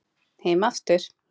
Heim aftur